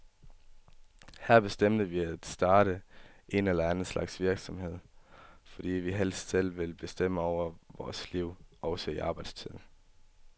Her bestemte vi at starte en eller anden slags virksomhed, fordi vi helst selv ville bestemme over vores liv, også i arbejdstiden.